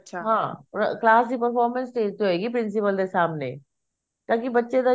ਹਾਂ class ਦੀ performance stage ਤੇ ਹੋਏਗੀ principal see ਸਾਹਮਣੇ ਤਾਂਕੀ ਬੱਚੇ ਦਾ ਜਿਹੜਾ